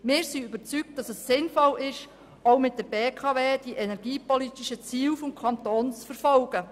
Wir sind überzeugt, dass es sinnvoll ist, auch mit der BKW die energiepolitischen Ziele des Kantons zu verfolgen.